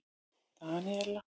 Daníela